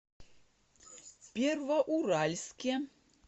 первоуральске